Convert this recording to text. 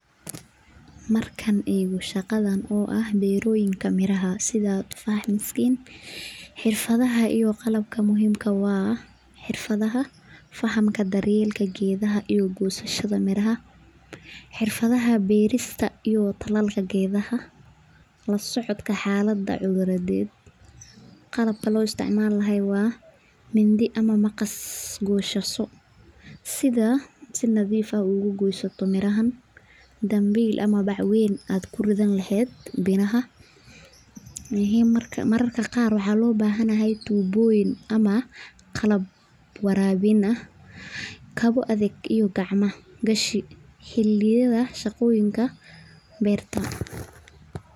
Markaan eego shaqadan oo ah beeraha miraha, xirafada iyo qalabka muhiimka ah waa xirafada fahamka dar yeelka geedaha iyo gosashada miraha xirfadaha beerista iyo talaalka lasocodka xalada cuduradeed qalabka loo isticmaala lahaay waa mindi ama maqas guusasho si si nadiif ah aad ugosoto, danbiil ama bac weyn aad kuridan leheed, mararka qaar waxaa loo bahan yahay tuboyin ama qalab warabin ah, kabo adaga ama gacmo gashi xiliyaha shaqada beeraha.